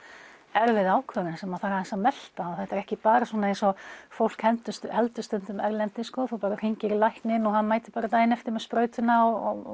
erfið ákvörðun sem þarf aðeins að melta þetta er ekki bara svona eins og fólk heldur stundum erlendis að þú bara hringir í lækninn og hann mætir bara daginn eftir með sprautuna og